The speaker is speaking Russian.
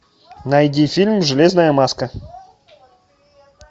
найди фильм железная маска